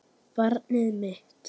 Barn mitt.